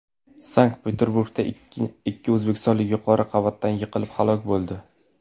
Sankt-Peterburgda ikki o‘zbekistonlik yuqori qavatdan yiqilib halok bo‘ldi.